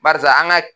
Barisa an ga